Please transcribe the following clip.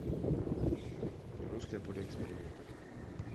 русское поле экспериментов